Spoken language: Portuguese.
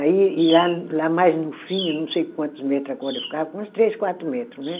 Aí, e lá, lá mais no fim, eu não sei quantos metro a corda ficava, uns três, quatro metros, né.